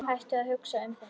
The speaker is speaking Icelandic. Hættu að hugsa um þetta.